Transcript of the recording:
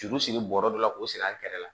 Juru siri bɔrɔ dɔ k'o siri an kɛrɛfɛ